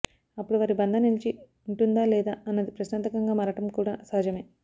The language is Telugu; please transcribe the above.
అప్పుడు వారి బంధం నిలిచి ఉంటుందా లేదా అన్నది ప్రశ్నార్థకంగా మారడం కూడా సహజమే